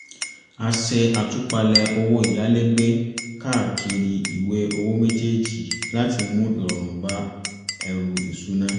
ó ṣe àtúpalẹ̀ owó ìyálégbé káàkiri ìwé owó méjéèjì láti mú ìrọ̀rùn bá ẹrù ìṣúná